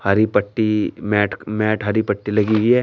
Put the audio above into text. हरी पट्टी mat mat हरी पट्टी लगी हुई है।